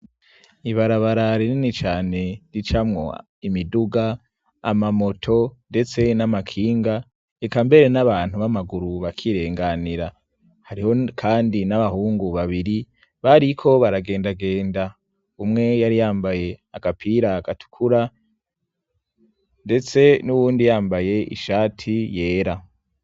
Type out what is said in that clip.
Ibarabara rinini cyane ricamwo imiduga amamoto ndetse n'amakinga ikambere n'abantu b'amaguru bakirenganira hariho kandi n'abahungu babiri bariko baragendagenda umwe yari yambaye akapira agatukura ndetse n'uwundi yambaye ishati yera.